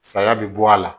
Saya bɛ bɔ a la